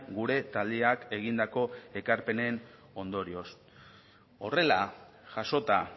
gure taldeak egindako ekarpenen ondorioz horrela jasota